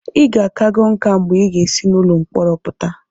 ị ga-akago nká mgbe ị ga-esi n'ụlọ mkpọrọ pụta